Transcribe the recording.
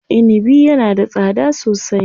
Inibi yana da tsada sosai.